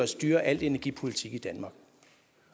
styre al energipolitik i danmark